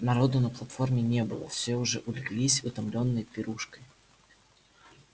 народу на платформе не было все уже улеглись утомлённые пирушкой